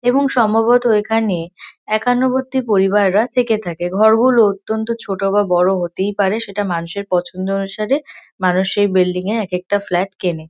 এবং সম্ভবত এখানে একান্নবর্তী পরিবাররা থেকে থাকে এবং ঘর গুলো অত্যন্ত ছোট বা বড় হতেই পারে সেটা মানুষের পছন্দ অনুসারে মানুষ সেই বিল্ডিং -এ একেকটা ফ্ল্যাট কেনে।